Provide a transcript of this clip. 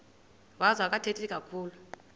wazo akathethi kakhulu